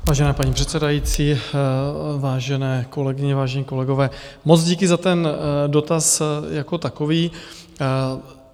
Vážená paní předsedající, vážené kolegyně, vážení kolegové, moc díky za ten dotaz jako takový.